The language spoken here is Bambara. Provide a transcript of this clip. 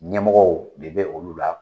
Ɲɛmɔgɔw de bɛ olu la